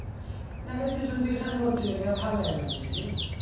না রে tuition tuition এ ভর্তি হয়ি নি আর ভাল লাগে না এখন যেতে